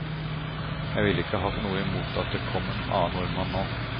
Jeg ville ikke hatt noe i mot at det kom en annen nordmann nå.